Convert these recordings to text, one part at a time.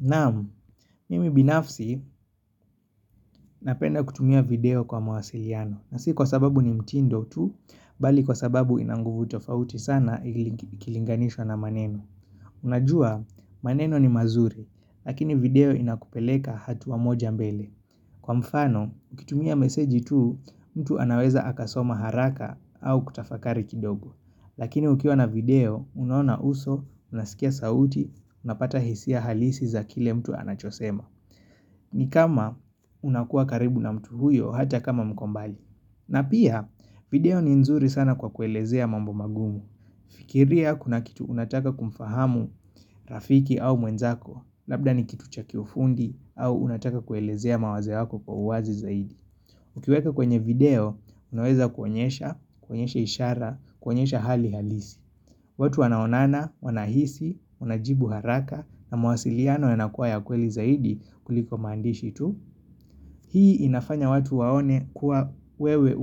Naam, mimi binafsi napenda kutumia video kwa mawasiliano, na si kwa sababu ni mtindo tu, bali kwa sababu ina nguvu tofauti sana ikilinganishwa na maneno. Unajua, maneno ni mazuri, lakini video inakupeleka hatua moja mbele. Kwa mfano, kutumia meseji tu, mtu anaweza akasoma haraka au kutafakari kidogo. Lakini ukiwa na video, unaona uso, unasikia sauti, unapata hisia halisi za kile mtu anachosema. Ni kama unakua karibu na mtu huyo hata kama mko mbali. Na pia, video ni nzuri sana kwa kuelezea mambo magumu. Fikiria kuna kitu unataka kumfahamu rafiki au mwenzako, labda ni kitu cha kiufundi au unataka kuelezea mawazo yako kwa uwazi zaidi. Ukiweka kwenye video, unaweza kuonyesha, kuonyesha ishara, kuonyesha hali halisi. Watu wanaonana, wanahisi, wanajibu haraka na mawasiliano yanakuwa ya kweli zaidi kuliko maandishi tu. Hii inafanya watu waone kuwa wewe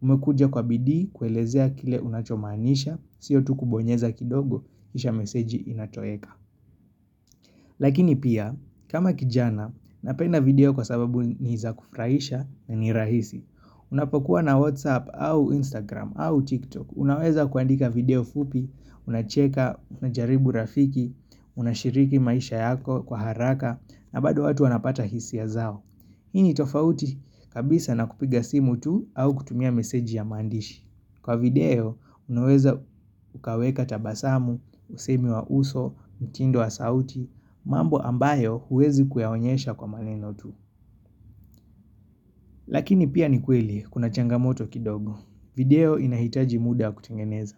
umekuja kwa bidii kuelezea kile unachomaanisha, sio tu kubonyeza kidogo kisha meseji inatoweka. Lakini pia, kama kijana, napenda video kwa sababu ni za kufraisha na ni rahisi. Unapokuwa na Whatsapp au Instagram au TikTok, unaweza kuandika video fupi, unacheka, unajaribu rafiki, unashiriki maisha yako kwa haraka na bado watu wanapata hisia zao. Hii ni tofauti kabisa na kupiga simu tu au kutumia meseji ya mandishi. Kwa video, unaweza ukaweka tabasamu, usemi wa uso, mtindo wa sauti, mambo ambayo huwezi kuyaonyesha kwa maneno tu. Lakini pia ni kweli, kuna changamoto kidogo. Video inahitaji muda kutengeneza.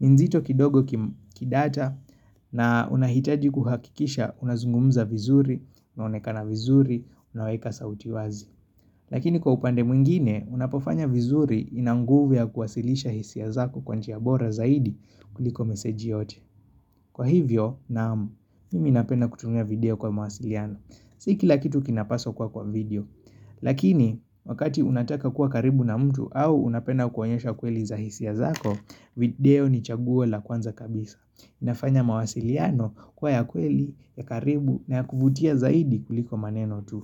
Nzito kidogo kidata na unahitaji kuhakikisha unazungumza vizuri, unaonekana vizuri, unaweka sauti wazi. Lakini kwa upande mwingine, unapofanya vizuri ina nguvu ya kuwasilisha hisia zako kwa njia bora zaidi kuliko meseji yote. Kwa hivyo, naam, mimi napenda kutumia video kwa mawasiliano. Si kila kitu kinapaswa kuwa kwa video. Lakini, wakati unataka kuwa karibu na mtu au unapenda kuonyesha kweli za hisia zako, video ni chaguo la kwanza kabisa. Inafanya mawasiliano kuwa ya kweli ya karibu na ya kuvutia zaidi kuliko maneno tu.